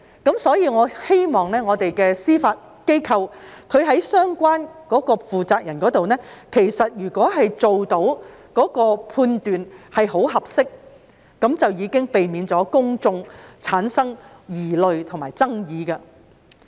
因此，我希望司法機構相關負責人能作出很合適的判斷，這樣便可避免公眾產生疑慮及爭議。